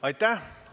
Aitäh!